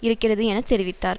இருக்கிறது என தெரிவித்தார்